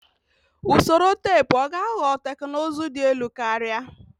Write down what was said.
Usoro teepu ọ ga-aghọ teknụzụ dị elu karịa?